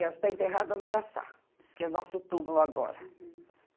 E ela esta enterrada no Araçá, que é o nosso túmulo agora. Uhum